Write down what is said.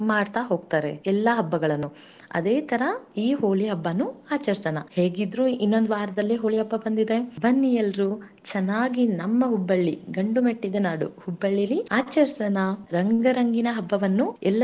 ಮಾಡ್ತಾ ಹೋಗ್ತಾರೆ ಎಲ್ಲ ಹಬ್ಬಗಳನ್ನು ಅದೇತರ ಈ ಹೋಳಿ ಹಬ್ಬಾನು ಆಚರಿಸೋಣ ಹೇಗಿದ್ರು ಇನ್ನೊಂದ ವಾರದಲ್ಲಿ ಹೋಳಿ ಹಬ್ಬಾ ಬಂದಿದೆ ಬನ್ನಿ ಎಲ್ರೂ ಚೆನ್ನಾಗಿ ನಮ್ಮ Hubballi ಗಂಡು ಮೆಟ್ಟಿದ ನಾಡು Hubballi ಅಲ್ಲಿ ಆಚರಿಸೋಣ ರಂಗುರಂಗಿನ ಹಬ್ಬವನ್ನು.